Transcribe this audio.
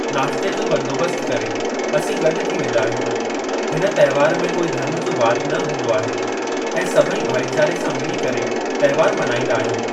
नास्ते जो बंदोबस्त करे, असीं गॾु थी वेंदा आहियूं। हिन तंहिवार में कोई धर्म जो वादु न हूंदो आहे ऐं सभई भाईचारे सां मिली करे तंहिवार मनाईंदा आहियूं।